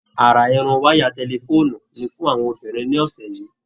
Ará Irun waya tẹ̀lifoonu ni fún àwọn obìnrin ní ọsẹ yìí.